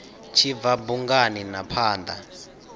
tshi bva bungani na phanda